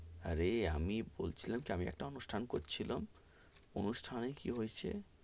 অরে আমি বলছিলাম কি আমি একটা অনুষ্ঠান করছিলাম, অনুষ্ঠানে কি হয়েছে,